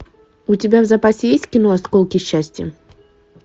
у тебя в запасе есть кино осколки счастья